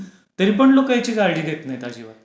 तरी पण लोकं याची काळजी घेत नाहीत अजिबात.